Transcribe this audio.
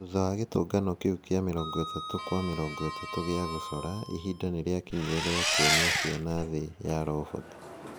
Thutha wa gĩtũngano kĩu kĩa 30*30 gia gũcora, ihinda nĩ rĩakinyire rĩa kuonia ciana thĩ ya roboti.